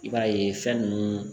I b'a ye fɛn nunnu